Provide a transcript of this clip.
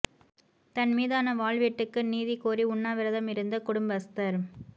தன் மீதான வாள் வெட்டுக்கு நீதி கோரி உண்ணாவிரதம் இருந்த குடும்பஸ்தர்